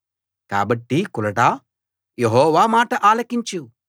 కాబట్టి కులటా యెహోవా మాట ఆలకించు